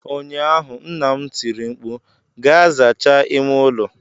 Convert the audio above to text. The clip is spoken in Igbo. ụnyaahụ, nna m tiri mkpu, "Gaa zachaa ime ụlọ !"